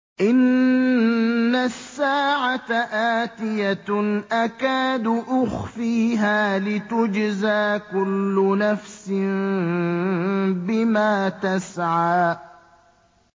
إِنَّ السَّاعَةَ آتِيَةٌ أَكَادُ أُخْفِيهَا لِتُجْزَىٰ كُلُّ نَفْسٍ بِمَا تَسْعَىٰ